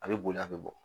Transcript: A bɛ boli a bɛ bɔ